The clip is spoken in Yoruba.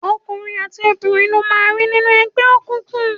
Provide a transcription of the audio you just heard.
Ọkùnrin àti obìnrin lo máa rí nínú ẹgbẹ́ òkùnkùn.